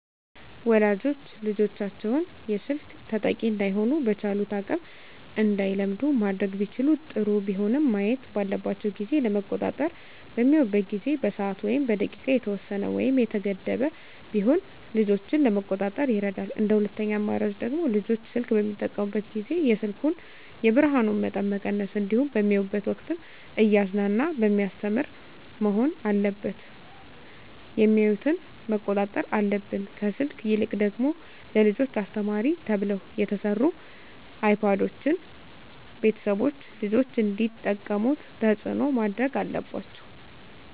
ወላጆች ልጆቻቸውን የስልክ ተጠቂ እዳይሆኑ በቻሉት አቅም እንዳይለምዱ ማድረግ ቢችሉ ጥሩ ቢሆንም ማየት ባለባቸው ጊዜ ለመቆጣጠር በሚያዩበት ጊዜ በሰዓት ወይም በደቂቃ የተወሰነ ወይም የተገደበ ቢሆን ልጆችን ለመቆጣጠር ይረዳል እንደ ሁለተኛ አማራጭ ደግሞ ልጆች ስልክ በሚጠቀሙበት ጊዜ የስልኩን የብርሀኑን መጠን መቀነስ እንዲሁም በሚያዩበት ወቅትም እያዝናና በሚያስተምር መሆን አለበት የሚያዮትን መቆጣጠር አለብን። ከስልክ ይልቅ ደግሞ ለልጆች አስተማሪ ተብለው የተሰሩ አይፓዶችን ቤተሰቦች ልጆች እንዲጠቀሙት ተፅዕኖ ማድረግ አለባቸው።